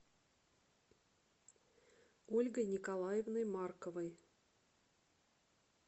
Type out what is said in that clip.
ольгой николаевной марковой